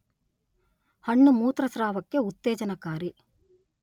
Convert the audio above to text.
ಹಣ್ಣು ಮೂತ್ರಸ್ರಾವಕ್ಕೆ ಉತ್ತೇಜನಕಾರಿ.